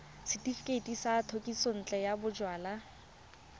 setefikeiti sa thekisontle ya bojalwa